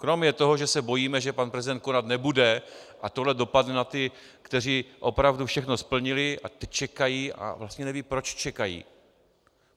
Kromě toho, že se bojíme, že pan prezident konat nebude a tohle dopadne na ty, kteří opravdu všechno splnili a teď čekají a vlastně nevědí, proč čekají.